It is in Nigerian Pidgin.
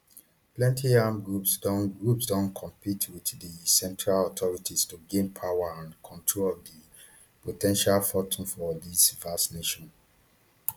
plenty armed groups don groups don compete wit di central authorities to gain power and control of di po ten tial fortune for dis vast nation